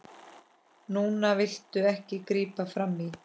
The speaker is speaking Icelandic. Núna viltu ekki grípa frammí.